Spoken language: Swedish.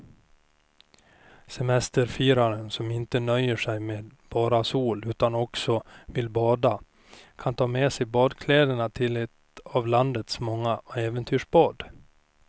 Semesterfiraren som inte nöjer sig med bara sol utan också vill bada kan ta med sig badkläderna till ett av landets många äventyrsbad.